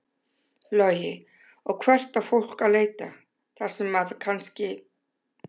Logi: Og hvert á fólk að leita þar sem að kannski?